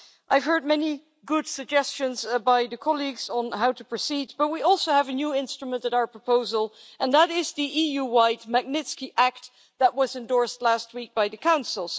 I've heard many good suggestions by colleagues on how to proceed, but we also have a new instrument at our disposal and that is the EU-wide Magnitsky Act that was endorsed last week by the Council.